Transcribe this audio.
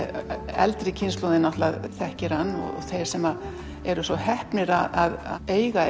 eldri kynslóðin þekkir hann og þeir sem eru svo heppnir að eiga